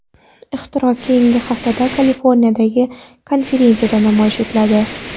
Ixtiro keyingi haftada Kaliforniyadagi konferensiyada namoyish etiladi.